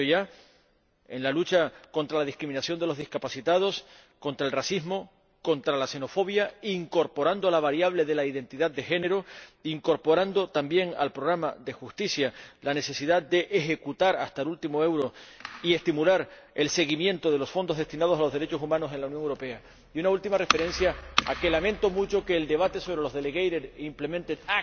Se ha dicho ya en relación con la lucha contra la discriminación de las personas con discapacidad, contra el racismo, contra la xenofobia, incorporando la variable de la identidad de género e incorporando también al Programa de Justicia la necesidad de ejecutar hasta el último euro y estimular el seguimiento de los fondos destinados a los derechos humanos en la Unión Europea. Y, por último, lamento mucho que el debate sobre los actos delegados y de ejecución